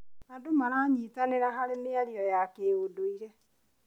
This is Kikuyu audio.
Andũ maranyitanĩra harĩ mĩario ya kĩũndũire.